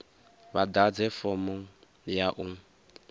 vha ḓadze fomo ya u